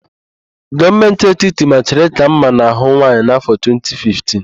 Gọọmentị etiti machiri íkà mma n'ahụ nwaanyị n'áfọ̀, 2015.